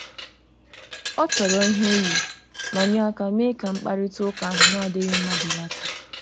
O toro ihe o yi, ma nye aka mee ka mkparịta ụka ahụ na-adịghị mma belata.